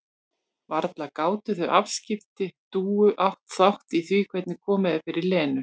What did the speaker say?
Varla gátu þau afskipti Dúu átt þátt í því hvernig komið er fyrir Lenu?